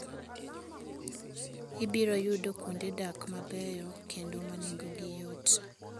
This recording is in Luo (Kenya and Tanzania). Ibiro yudo kuonde dak mabeyo kendo ma nengogi yot.